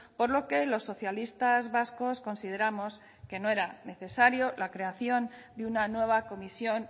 por lo que los socialistas vascos consideramos que no era necesaria la creación de una nueva comisión